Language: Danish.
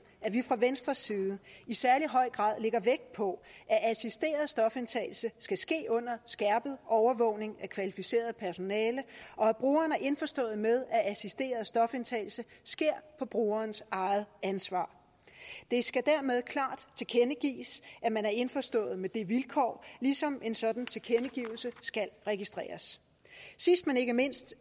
at vi fra venstres side i særlig høj grad lægger vægt på at assisteret stofindtagelse skal ske under skærpet overvågning af kvalificeret personale og at brugeren er indforstået med at assisteret stofindtagelse sker på brugerens eget ansvar det skal dermed klart tilkendegives at man er indforstået med det vilkår ligesom en sådan tilkendegivelse skal registreres sidst men ikke mindst